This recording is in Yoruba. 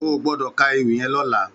Ó gbòdò kà éwì yèn lòlà